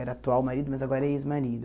Era atual marido, mas agora é ex-marido.